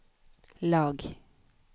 lag